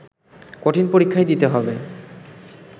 কঠিন পরীক্ষাই দিতে হবে